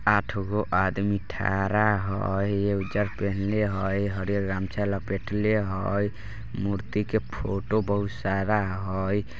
आठ गो आदमी ठहरा हई ये उज्जर पहिनले हई हरिअर गमछा लपेटले हई मूर्ति के फोटो बहुत सारा हई।